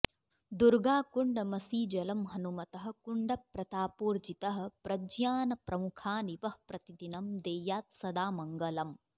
दुर्गाकुण्डमसीजलं हनुमतः कुण्डप्रतापोर्जितः प्रज्ञानप्रमुखानि वः प्रतिदिनं देयात्सदा मङ्गलम्